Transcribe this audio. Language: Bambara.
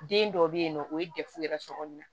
Den dɔw bɛ yen nɔ o ye dɛfu yɛrɛ so kɔnɔ yan